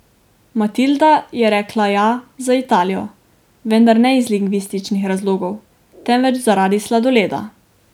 Matilda je rekla ja za Italijo, vendar ne iz lingvističnih razlogov, temveč zaradi sladoleda.